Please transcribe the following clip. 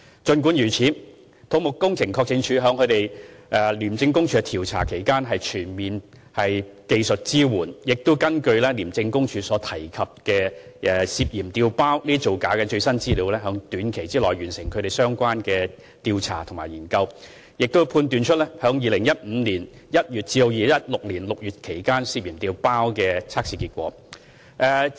儘管如此，土木工程拓展署在廉署進行調查期間，提供全面技術支援，亦根據廉署提及涉嫌調包造假的最新資料，在短期內完成相關的調查和研究，並判斷出在2015年1月至2016年6月期間涉嫌調包的測試結果。